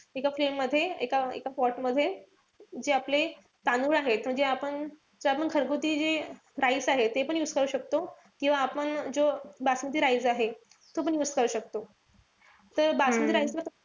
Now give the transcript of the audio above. एका pan मध्ये एका pot मध्ये जे आपले तांदूळ आहे म्हणजे जे आपण घरगुती जे rice आहे तेपण use करू शकतो. किंवा आपण जो बासमती rice आहे. तो पण use करू शकतो. त बासमती rice ला